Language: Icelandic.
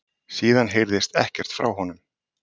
Síðan heyrðist ekkert frá honum